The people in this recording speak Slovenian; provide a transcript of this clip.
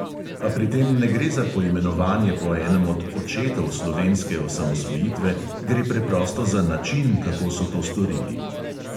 Pa pri tem ne gre za poimenovanje po enem od "očetov" slovenske osamosvojitve, gre preprosto za način, kako so to storili.